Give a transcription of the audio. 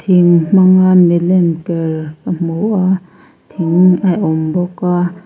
thing hmanga mi lem ker ka hmu a thing a awm bawk a.